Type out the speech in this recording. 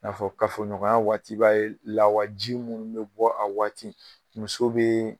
N'a fɔ kafo ɲɔgɔnya waati la, la b'a ye lawaji minnu bɛ bɔ a waati muso bɛ